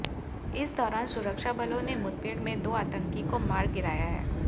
इस दौरान सुरक्षाबलों ने मुठभेड़ में दो आतंकी को मार गिराया है